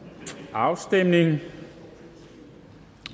afstemningen